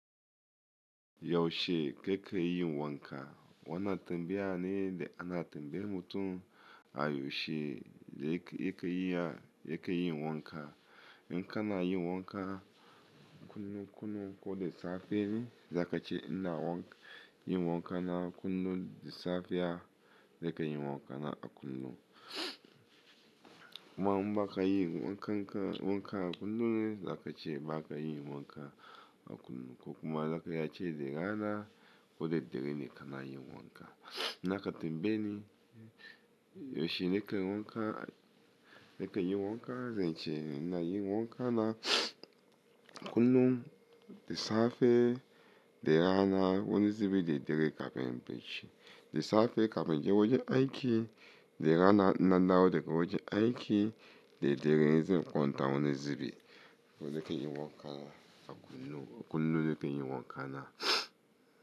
Yaushe kake yin wanka? Wana tambaya ne da ana tambayar mutum a yaushe yake yake yin wanka. In kana yin wanka kullum kullun ko da safe ne, zakace in na yin wanka na kullum da safiya, nikeyin wanka na a kullum. Inma ba ka yin wanka wanka a kullum ne zakace baka yin wanka a kullum ko kuma zaka iya ce t da rana ko da dare ne kana yin wanka. N'na ka tambaye ni yaushe nake yin wanka nake yin wanka zan ce ina yin wanka na kullum da safe da rana wani zubin da daddare kafin inyi bacci. Da safe kafin je wajen aiki da rana nan da rana da wajen aiki da daddare in zan kwanta wani zube. Haka nake yin wanka a kullum kullum nake yin wanka na.